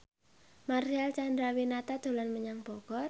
Marcel Chandrawinata dolan menyang Bogor